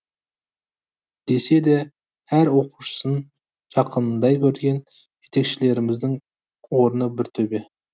десе де әр оқушысын жақынындай көрген жетекшілеріміздің орны бір төбе